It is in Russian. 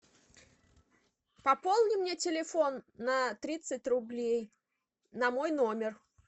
пополни мне телефон на тридцать рублей на мой номер